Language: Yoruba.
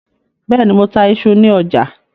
Bẹ́ẹ̀ ní, mo ta iṣu ní ọ̀jà.